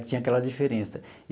Que tinha aquela diferença.